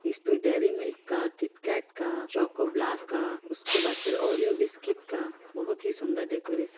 इस पे dairy milk का किटकेट का चॉको ब्लास्ट का उसके बाद फिर ओरिओ बिस्किट का बहुत ही सुन्दर डेकरैशन --